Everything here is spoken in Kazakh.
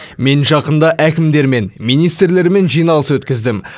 мен жақында әкімдермен министрлермен жиналыс өктіздім